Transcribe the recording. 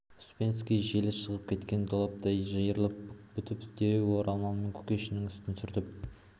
успенский желі шығып кеткен доптай жиырылып бүк түсіп дереу орамалымен кушекиннің үстін сүртіп